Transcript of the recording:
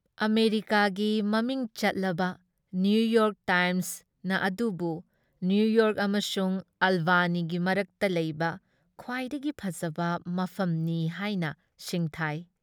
ꯑꯃꯦꯔꯤꯀꯥꯒꯤ ꯃꯃꯤꯡ ꯆꯠꯂꯕ ꯅꯤꯌꯨꯌꯣꯔꯛ ꯇꯥꯏꯝꯁꯅ ꯑꯗꯨꯕꯨ ꯅꯤꯌꯨꯌꯣꯔꯛ ꯑꯃꯁꯨꯡ ꯑꯥꯜꯕꯥꯅꯤꯒꯤ ꯃꯔꯛꯇ ꯂꯩꯕ ꯈ꯭ꯋꯥꯏꯗꯒꯤ ꯐꯖꯕ ꯃꯐꯝꯅꯤ ꯍꯥꯏꯅ ꯁꯤꯡꯊꯥꯏ ꯫